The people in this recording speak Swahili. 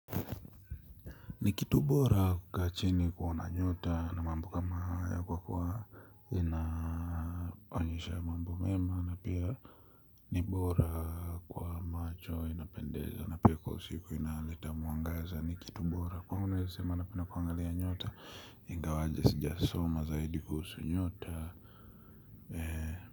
Ni kitu bora kukaa chini kuona nyota na mambo kama haya kwa kuwa inaonyesha mambo mema na Pia Ni bora kwa macho inapendeza na pia kwa usiku inaletamuangaza nikitu bora. Kwangu naweze sema napenda kuangalia nyota ingawaje sija soma zaidi kuhusu nyota eeh.